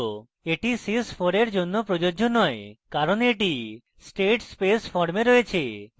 এটি sys 4 এ প্রযোজ্য নয় কারণ এটি state space form রয়েছে